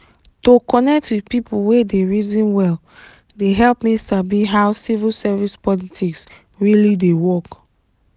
to connect with people wey dey reason well dey help me sabi how civil service politics really dey work.